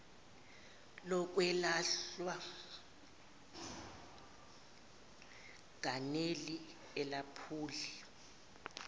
lokwelashwa ganeli alephuli